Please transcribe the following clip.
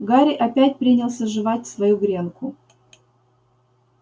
гарри опять принялся жевать свою гренку